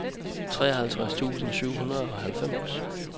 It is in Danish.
treoghalvtreds tusind syv hundrede og halvfems